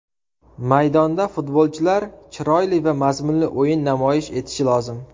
Maydonda futbolchilar chiroyli va mazmunli o‘yin namoyish etishi lozim.